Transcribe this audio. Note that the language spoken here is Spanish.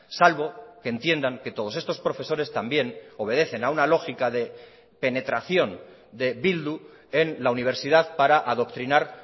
salvo que entiendan que todos estos profesores también obedecen a una lógica de penetración de bildu en la universidad para adoctrinar